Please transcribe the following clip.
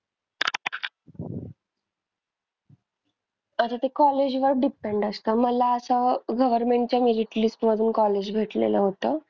आता ते college वर depend असतं. मला असं government च्या merit list मधून college भेटलेलं होतं.